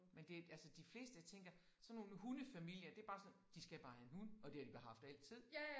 Men det altså de fleste jeg tænker sådan nogle hundefamilier det bare sådan de skal bare have en hund og det har de bare haft altid